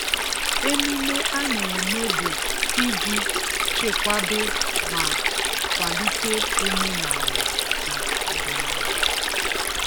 Emume a na-eme bụ iji chekwaba ma kwalite omenala na ọdịnala.